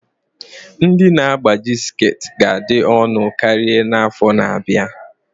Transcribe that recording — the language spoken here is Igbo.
Ndị na-agbaji sekit ga-adị ọnụ karịa n'afọ na-abịa